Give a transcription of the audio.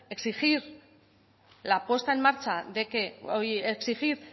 exigir